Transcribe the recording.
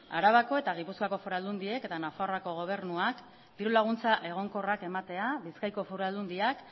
arabako eta gipuzkoako foru aldundiek eta nafarroako gobernuak diru laguntza egonkorrak ematea bizkaiko foru aldundia